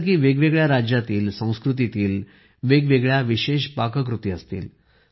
जसे की वेगवेगळ्या राज्यातील संस्कृतीतील वेगवेगळ्या विशेष पाककृती असतील